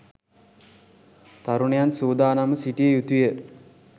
තරුණයන් සූදානම්ව සිටිය යුතුය.